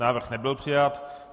Návrh nebyl přijat.